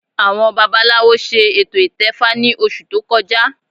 Àwọn babaláwo ṣe ètò ìtẹfa ní oṣù tó kọjá